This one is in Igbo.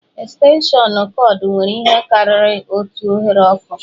Estenshịọnụ kọọdụ nwere ihe karịrị otu oghere ọkụ